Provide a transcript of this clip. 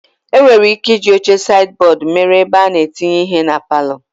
E nwere ị́ké ịji oche saidi bọọdu mere ebe a na-etinye ihe na palọ.